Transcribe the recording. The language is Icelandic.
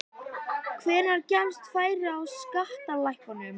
Hvenær gefst færi á skattalækkunum?